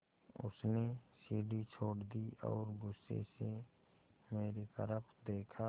उसने सीढ़ी छोड़ दी और गुस्से से मेरी तरफ़ देखा